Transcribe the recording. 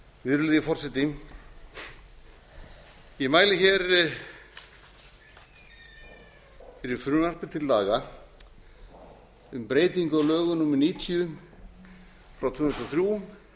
virðulegi forseti ég mæli hér fyrir frumvarpi til laga um breytingu á lögum númer níutíu tvö þúsund og þrjú